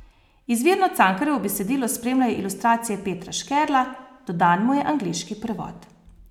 Izvirno Cankarjevo besedilo spremljajo ilustracije Petra Škerla, dodan mu je angleški prevod.